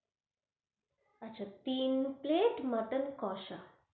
আচ্ছা তিন plate কোষা.